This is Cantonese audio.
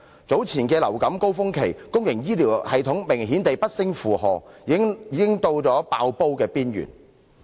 早前流感高峰期，公營醫療系統明顯不勝負荷，已到了"爆煲"邊緣。